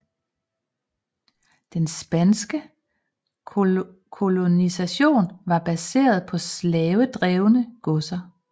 Den spanske kolonisation var baseret på slavedrevne godser